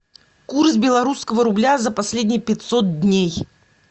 курс белорусского рубля за последние пятьсот дней